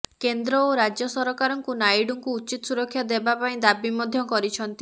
କେନ୍ଦ୍ର ଓ ରାଜ୍ୟ ସରକାରଙ୍କୁ ନାଇଡୁଙ୍କୁ ଉଚିତ୍ ସୁରକ୍ଷା ଦେବା ପାଇଁ ଦାବି ମଧ୍ୟ କରିଛନ୍ତି